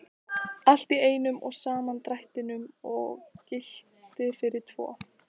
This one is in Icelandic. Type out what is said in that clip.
Allt í einum og sama drættinum og gilti fyrir tvo!